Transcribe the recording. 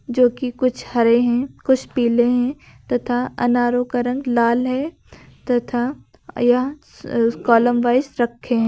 जो कि कुछ हरे हैं कुछ पीले हैं तथा अनारों का रंग लाल हैं तथा यह कॉलम वाइज रखे हैं।